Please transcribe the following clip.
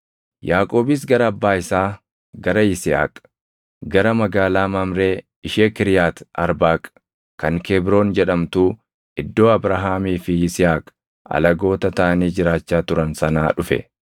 Yaaqoobis gara abbaa isaa, gara Yisihaaq, gara magaalaa Mamree ishee Kiriyaati Arbaaq kan Kebroon jedhamtuu, iddoo Abrahaamii fi Yisihaaq alagoota taʼanii jiraachaa turan sanaa dhufe.